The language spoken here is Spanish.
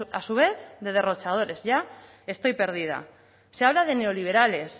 a su vez de derrochadores ya estoy perdida se habla de neoliberales